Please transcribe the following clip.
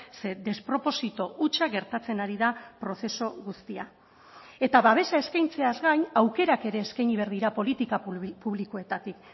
ze desproposito hutsa gertatzen ari da prozesu guztia eta babesa eskaintzeaz gain aukerak ere eskaini behar dira politika publikoetatik